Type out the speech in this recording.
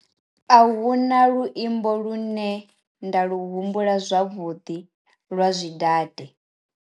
A huna luimbo lune nda lu humbula zwavhuḓi lwa zwi date.